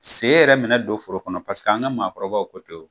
Sen yɛrɛ mɛnɛ don foro kɔnɔ ,paseke an ka maakɔrɔbaw ko ten